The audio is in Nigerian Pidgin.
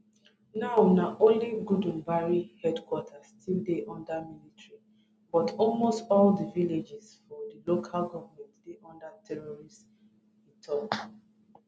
now na only gudumbari headquarters still dey under military but almost all di villages for di local goment dey under terrorists e tok